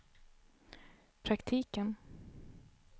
praktiken